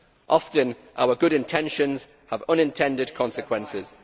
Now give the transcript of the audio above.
Often our good intentions have unintended consequences.